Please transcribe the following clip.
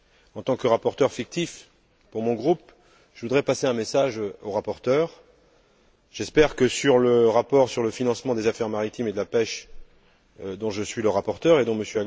En tant que rapporteur fictif de mon groupe, je voudrais adresser un message au rapporteur j'espère que, sur le rapport relatif au financement des affaires maritimes et de la pêche, dont je suis le rapporteur et dont M.